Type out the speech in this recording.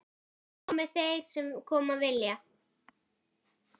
Komi þeir sem koma vilja.